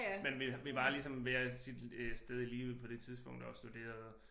Men vi var ligesom hver sit øh sted i livet på det tidspunkt og studerede